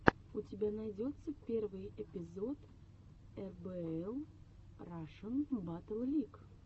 у тебя найдется первый эпизод эрбээл рашн баттл лиг